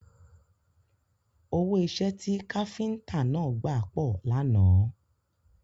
Owó iṣẹ́ ti káfíntà náà gbà pọ̀ lánàá.